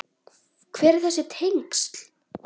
Hver eru þessi tengsl?